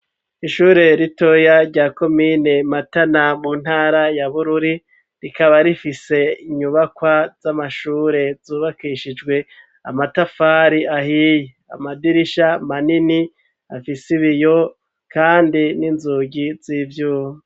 Ishure ritoya, rya komine Matana, mu ntara ya Bururi; rikaba rifise, inyubakwa z'amashure, zubakishijwe amatafari ahiye, amadirisha manini, afise ibiyo, kandi n'inzugi, z'ivyuma.